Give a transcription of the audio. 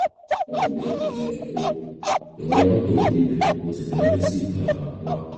ẹnlẹ́ um o jọ̀wọ́ ya fọ́tò ojú ibẹ kó o sì fi ránṣẹ́ sí um wa